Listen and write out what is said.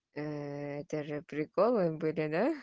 это же приколы были да